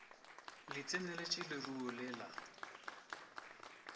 le tseneletše leruo le la